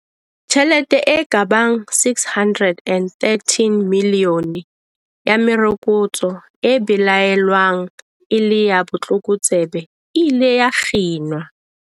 Tjhelete e ka bang R613 milione ya merokotso e belaelwang e le ya botlokotsebe e ile ya kginwa.